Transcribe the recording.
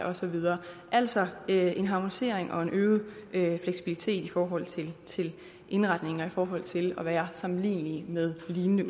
og så videre altså en harmonisering og en øget fleksibilitet i forhold til til indretning og i forhold til at være sammenlignelige med lignende